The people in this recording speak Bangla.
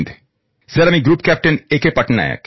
স্যার আমি group captain A K Patnaik